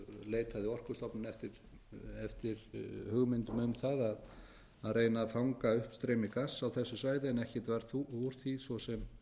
leitaði orkustofnun eftir hugmyndum um það að reyna að fanga uppstreymi gass á þessu svæði en ekkert varð úr því svo sem